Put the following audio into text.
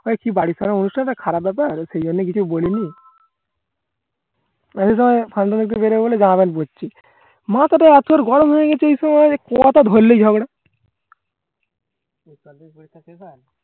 বাড়ি ভরা অনুষ্ঠান খারাপ ব্যাপার সেই জন্যেই কিছু আর বলিনি আমি তো Function এ বেরোবো বলে জামা Pant পড়ছি মাথা টা আজকাল গরম হয়ে গেছে এইসবে যে কথা ধরলেই ঝগড়া